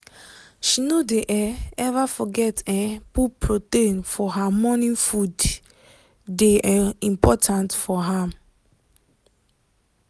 she no dey um ever forget um put protein for her morning foode dey um important for am.